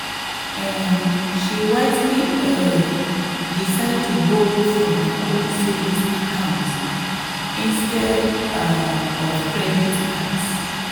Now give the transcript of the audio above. um she wisely um decide to borrow from her own savings account instead um of credit cards.